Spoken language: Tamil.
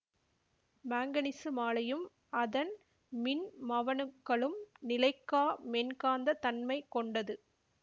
மாங்கனீசு மாழையும் அதன் மின்மவணுக்களும் நிலைக்கா மென்காந்தத் தன்மை கொண்டது